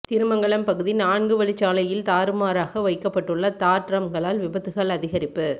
திருமங்கலம் பகுதி நான்குவழிச்சாலையில் தாறுமாறாக வைக்கப்பட்டுள்ள தார் டிரம்களால் விபத்துக்கள் அதிகரிப்பு